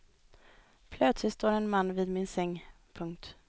Plötsligt står en man vid min säng. punkt